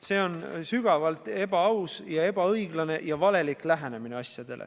See on sügavalt ebaaus, ebaõiglane ja valelik lähenemine.